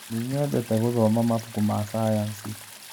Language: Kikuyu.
Nĩnyendete gũthoma mabuku ma cayanici.